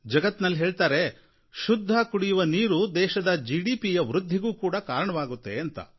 ಜಗತ್ತಿನಲ್ಲಿ ಹೇಳ್ತಾರೆ ಶುದ್ಧ ಕುಡಿಯುವ ನೀರು ದೇಶದ ಜಿಡಿಪಿಯ ವೃದ್ಧಿಗೆ ಕಾರಣವಾಗುತ್ತೆ ಅಂತ